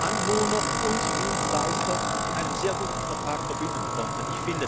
Anwohner und Dienstleister in einem sehr guten Vertrag verbinden konnten.